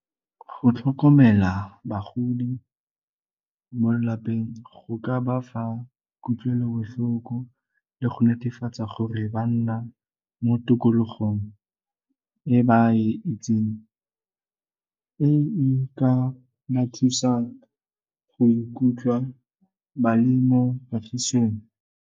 Go tlhokomela bagodi mo lapeng go ka bafa kutlwelobohloko le go netefatsa gore ba nna mo tikologong e ba e itseng e e ka mo thusang go ikutlwa ba le mo kagisong.